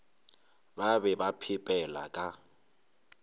ba be ba phepela ka